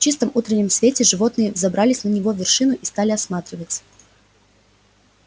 в чистом утреннем свете животные взобрались на его вершину и стали осматриваться